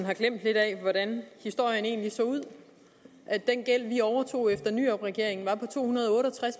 har glemt lidt af hvordan historien egentlig så ud at den gæld vi overtog efter nyrupregeringen var på to hundrede og otte og tres